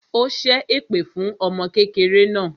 Ó ṣẹ́ èpè fún ọmọ kékeré náà